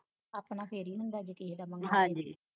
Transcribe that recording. ਆਪਣਾ ਫਿਰ ਈ ਹੁੰਦਾ ਜੇ ਕਿਹੇ ਦਾ ਮੰਗੋ